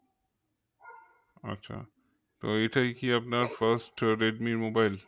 আছে তো এটাই কি আপনার first রেডমির mobile?